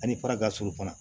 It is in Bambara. Ani fara ka surun fana